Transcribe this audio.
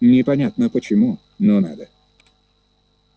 непонятно почему но надо